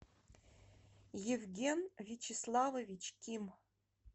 евген вячеславович ким